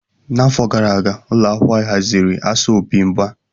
N'afọ gara aga, ụlọ akwụkwọ anyị haziri asọmpi mgba.